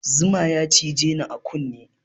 Zama ya cije ni a kunne